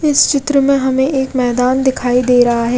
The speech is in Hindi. इस चित्र में हमे एक मैदान दिखाई दे रहा है।